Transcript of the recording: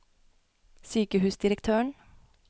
sykehusdirektøren